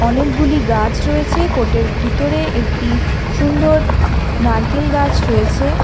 অনেকগুলি গাছ রয়েছে কোর্টের ভিতরে একটি সুন্দর নারকেল গাছ রয়েছে।